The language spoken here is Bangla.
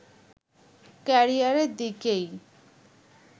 ক্যারিয়ারের দিকেই